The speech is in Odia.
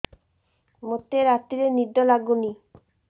ମୋତେ ରାତିରେ ନିଦ ଲାଗୁନି